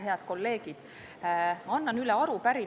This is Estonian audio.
Head kolleegid!